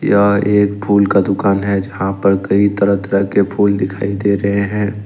यह एक फूल का दुकान है जहां पर कई तरह तरह के फूल दिखाई दे रहे हैं।